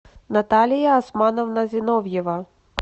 наталья османовна зиновьева